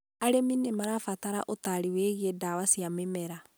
arĩmi nĩ marabatara ũtaarĩ wĩgiĩ ndwari cia mĩmera